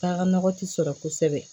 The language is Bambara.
Taa ka nɔgɔ ti sɔrɔ kosɛbɛ